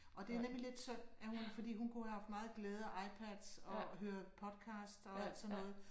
Og det er nemlig lidt synd at hun ikke fordi hun kunne have haft meget glæde af iPads og høre podcasts og alt sådan noget